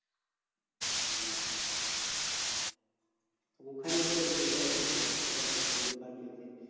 হ্যাঁ ওখানে তো ধরলে ওখানে ঠিকাছে ছোট দোকান চলছে।